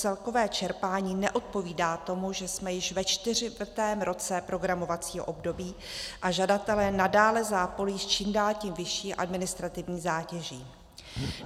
Celkové čerpání neodpovídá tomu, že jsme již ve čtvrtém roce programovacího období, a žadatelé nadále zápolí s čím dál tím vyšší administrativní zátěží.